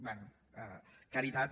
bé caritat